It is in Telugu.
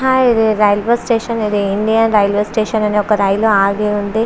హాయ్ ఇది రైల్వే స్టేషన్ ఇది ఇండియా రైల్వే స్టేషన్ అని ఆగి ఉంది.